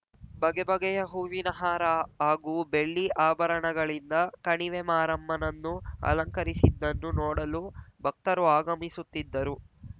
ಬಗೆ ಬಗೆಯ ಹೂವಿನ ಹಾರ ಹಾಗೂ ಬೆಳ್ಳಿ ಆಭರಣಗಳಿಂದ ಕಣಿವೆಮಾರಮ್ಮನನ್ನು ಅಲಂಕರಿಸಿದ್ದನ್ನು ನೋಡಲು ಭಕ್ತರು ಆಗಮಿಸುತ್ತಿದ್ದರು